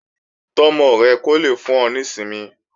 Tọ́ ọmọ rẹ kó lè fún ọ ní ìsinmi